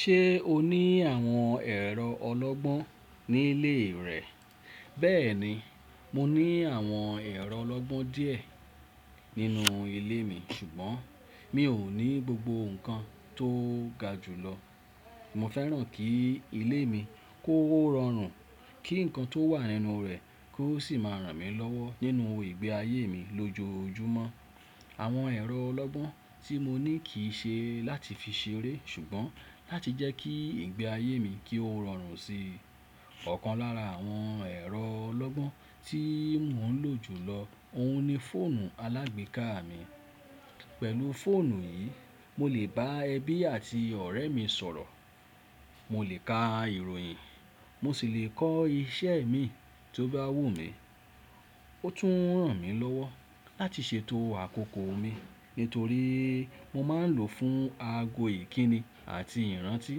Ṣé o ní àwọn ẹ̀rọ ọlọ́gbọ́n ní ilé rẹ? Bẹ́ẹ̀ni, mo ní àwọn ẹ̀rọ ọlọ́gbọ́n díẹ̀ nínú ilé mi ṣùgbọ́n mi ò ní gbogbo nǹkan tó ga jùlọ. Mo fẹ́ràn kí ilé mi kó rọrùn, kí nǹkan tó wà nínú rẹ̀ kó sì máa ràn mí lọ́wọ́ nínú ìgbé ayé mi lójoojúmọ́. Àwọn ẹ̀rọ ọlọ́gbọ́n tí mo ní kì í ṣe láti fi ṣeré ṣùgbọ́n láti jẹ́ kí ìgbé ayé mi ki ó rọrùn síi. Ọ̀kan lára àwọn ẹ̀rọ ọlọ́gbọ́n tí mò ń lò jùlọ òun ni fóònù aláagbéká mi. Pẹ̀lú fóònù yìí, mo lè bá ẹbí àti ọ̀rẹ́mi sọ̀rọ̀, mo lè ka ìròyìn, mo sì lè kọ́ ìṣe mi tó bá wù mí. Ó tún ràn mí lọ́wọ́ láti ṣètò àkókò mi nítorí mo máa ń lò ó fún aago ìkíni àti ìrántí.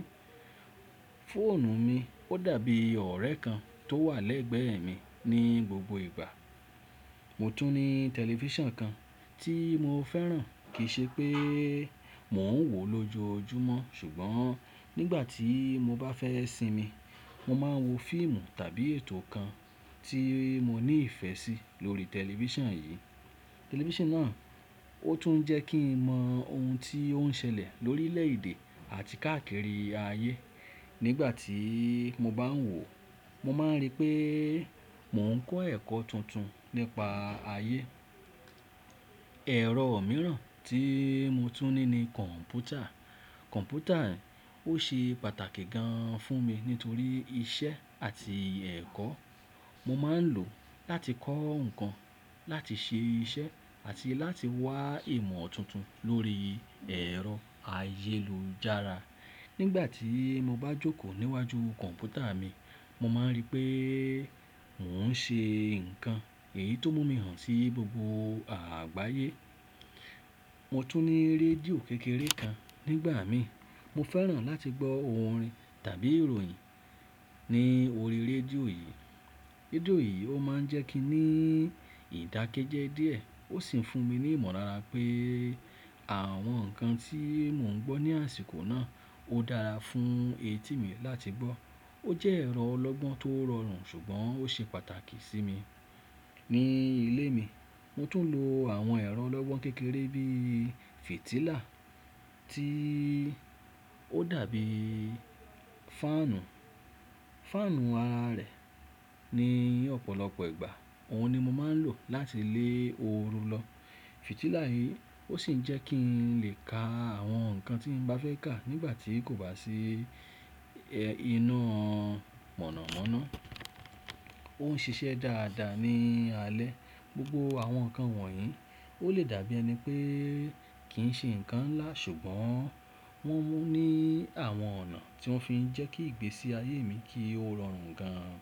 Fóònù mi ó dàbí ọ̀rẹ́ kan tó wà lẹ́gbẹ́ mi ní gbogbo ìgbà. Mo tún ní tẹlifíṣàn kan tí mo fẹ́ràn kìi ṣe pé mò ń wò lójoojúmọ́ ṣùgbọ́n nígbà tí mo bá fẹ́ sinmi, mo máa ń wo fíìmù tàbí ètò kan tí mo ní ìfẹ́ sí lórí tẹlifíṣàn yìí. Tẹlifíṣàn náà ó tún ń jẹ́ kí n mọ ohun tí ó ń ṣẹlẹ̀ lórílẹ̀ èdè àti káàkiri ayé. Nígbà tí mo bá ń wò, mo máa ń rí pé mò ń kọ́ ẹ̀kọ́ tuntun nípa ayé. Ẹ̀rọ mìíràn tí mo tún ní ni kọ̀m̀pútà. Kọ̀m̀pútà ó ṣe pàtàkì gan-an fún mi nítorí iṣẹ́ àti ẹ̀kọ́. Mo máa ń lò ó láti kọ́ nǹkan, láti ṣe iṣẹ́ àti láti wá ìmọ̀ tuntun lórí ẹ̀rọ ayélujára. Nígbà tí mo bá jókòó níwájú kọ̀m̀pútà mi, mo máa ń rí pé mò ń ṣe nǹkan èyí tó mú mi hàn sí gbogbo àgbáyé. Mo tún ní rédíò kékeré kan nígbà mí, mo fẹ́ràn láti gbọ́ orin tàbí ìròyìn ní orí rédíò yìí. Rédíò yìí ó máa ń jẹ́ kí n ní ìdákẹ́jẹ́ díẹ̀ ó sì ń fún mi ní ìmọ̀lára pé àwọn nǹkan tí mò ń gbọ́ ní àsìkò náà ó dára fún etí mi láti gbọ́. Ó jẹ́ ẹ̀rọ ọlọ́gbọ́n tó rọrùn ṣùgbọ́n ó ṣe pàtàkì sí mi. Ní ilé mi, mo tún lò àwọn ẹ̀rọ ọlọ́gbọ́n kékeré bí i fitílà tí ó dàbí fáànù. Fáànù ara rẹ̀ ní ọ̀pọ̀lọpọ̀ ìgbà òun ni mo máa ń lò láti lé oru lọ. Fitílà yìí ó sì ń jẹ́ kí n lè ka àwọn nǹkan tí n bá fẹ́ kà nígbà tí kò bá sí iná mọ̀nàmọ́ná. Ó ń ṣiṣẹ́ dáadáa ní alẹ́. Gbogbo àwọn nǹkan wọ̀nyí ó lè dàbí ẹni pé kì ń ṣe nǹkan ńlá ṣùgbọ́n wọ́n mú ní àwọn ọ̀nà tí wọ́n fi ń jẹ́ kí ìgbésí ayé mi kí ó rọrùn gan-an.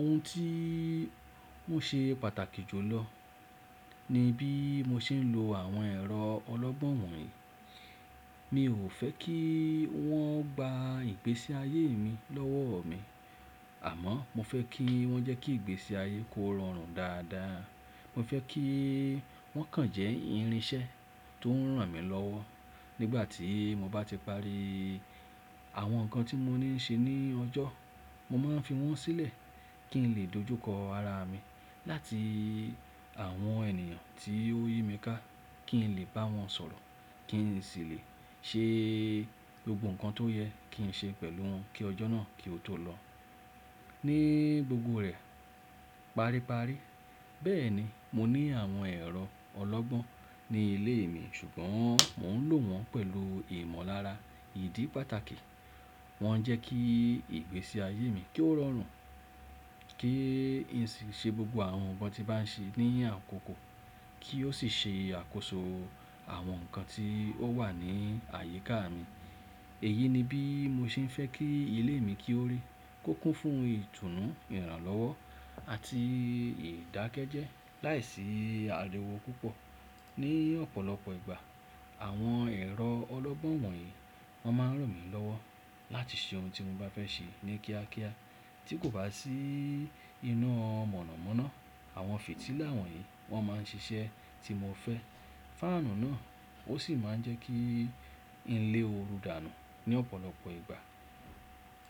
Ohun tí ó ṣe pàtàkì jùlọ ni bí mo ṣe ń lò àwọn ẹ̀rọ ọlọ́gbọ́n wọ̀nyí. Mi ò fẹ́ kí wọ́n gba ìgbésí ayé mi lọ́wọ́ mi àmọ́ mo fẹ́ kí wọ́n jẹ́ kí ìgbésí ayé kó rọrùn dáadáa. Mo fẹ́ kí wọ́n kàn jẹ́ irinṣẹ́ tó ń ràn mí lọ́wọ́. Nígbà tí mo bá ti parí àwọn nǹkan tí mo ní ń ṣe ní ọjọ́, mo máa ń fi wọ́n sílẹ̀ kí n lè dojúkọ ara mi láti àwọn ènìyàn tí ó yími ká kí n lè bá wọn sọ̀rọ̀, kí n sì lè ṣe gbogbo nǹkan tó yẹ kí n ṣe pẹ̀lú wọn kí ọjọ́ náà kí ó tó lọ ní gbogbo rẹ̀. Paríparí, bẹ́ẹ̀ni mo ní àwọn ẹ̀rọ ọlọ́gbọ́n ní ilé mi ṣùgbọ́n mò ń lò wọ́n pẹ̀lú ìmọ̀lára ìdí pàtàkì. Wọ́n ń jẹ́ kí ìgbésí ayé mi ki o rọrùn, kí n sì ṣe gbogbo àwọn nǹkan tí bá ń ṣe ní àkókò kí ó sì ṣe àkóso àwọn nǹkan tí ó wà ní àyíká mi. Èyí ni bí mo ṣe fẹ́ kí ilé mi kí ó rí, kó kún fún ohun ìtùnú, ìrànlọ́wọ́ àti ìdákẹ́jẹ́ láìsí àríwó púpọ̀. Ní ọ̀pọ̀lọpọ̀ ìgbà àwọn ẹ̀rọ ọlọ́gbọ́n wọ̀nyí wọ́n máa ń ràn mí lọ́wọ́ láti ṣe ohun tí mo bá fẹ́ ṣe ní kíákíá tí kò bá sí iná mọ̀nàmọ́ná. Àwọn fètílà wọ̀nyí wọ́n máa ń ṣiṣẹ́ tí mo fẹ́. Fáànù náà ó sì máa ń jẹ́ kí n lé oru dànù ní ọ̀pọ̀lọpọ̀ ìgbà.